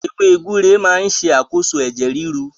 Ewé gbúre máa ń ṣàkóso ẹ̀jẹ̀ ríru